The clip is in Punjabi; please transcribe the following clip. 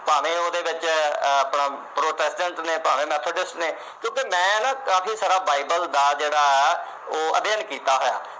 ਭਾਵੇਂ ਉਹਦੇ ਵਿੱਚ ਆਪਣਾ Protestants ਨੇ, ਭਾਵੇ Methodists ਨੇ ਕਿਉਂਕਿ ਮੈਂ ਜਿਹੜਾ Bible ਆ, ਉਹਦਾ ਵੀ ਅਧਿਐਨ ਕੀਤਾ ਹੋਇਆ।